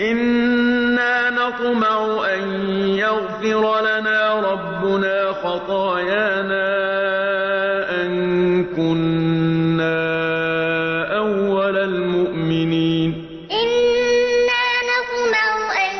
إِنَّا نَطْمَعُ أَن يَغْفِرَ لَنَا رَبُّنَا خَطَايَانَا أَن كُنَّا أَوَّلَ الْمُؤْمِنِينَ إِنَّا نَطْمَعُ أَن